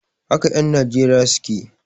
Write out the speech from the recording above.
Haka en Nijeriya suke